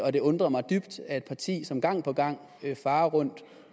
og det undrer mig dybt er et parti som gang på gang farer rundt